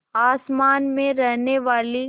आसमान में रहने वाली